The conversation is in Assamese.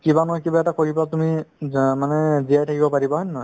তুমি কিবা নহয় কিবা এটা কৰিবা তুমি যা মানে জিয়াই থাকিব পাৰিবা হয় নে নহয়